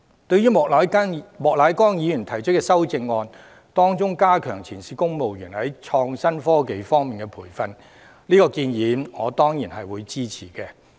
對於莫乃光議員提出的修正案，當中有關加強前線公務員在創新科技方面的培訓的建議，我當然會支持。